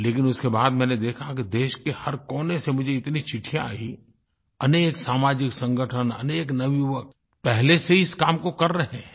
लेकिन उसके बाद मैंने देखा कि देश के हर कोने से मुझे इतनी चिट्ठियाँ आयी अनेक सामाजिक संगठन अनेक नवयुवक पहले से ही इस काम को कर रहे हैं